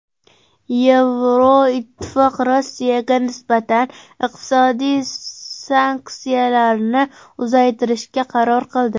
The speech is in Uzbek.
Yevroittifoq Rossiyaga nisbatan iqtisodiy sanksiyalarni uzaytirishga qaror qildi.